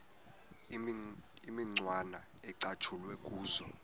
imicwana ecatshulwe kuzo